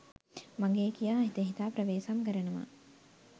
මගේ කියා හිත හිතා ප්‍රවේසම් කරනවා.